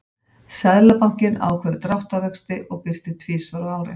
Seðlabankinn ákveður dráttarvexti og birtir tvisvar á ári.